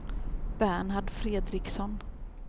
Bernhard Fredriksson